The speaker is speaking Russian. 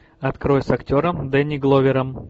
открой с актером дэнни гловером